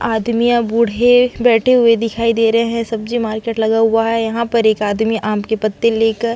आदमियां बूढ़े बैठे हुए दिखाई दे रहे है सब्जी मार्केट लगा हुआ है यहाँ पर एक आदमी आम के पत्ते लेकर --